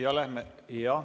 Ja lähme ...